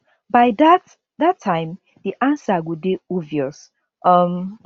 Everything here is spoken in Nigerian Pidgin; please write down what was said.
by dat dat time di ansa go dey obvious um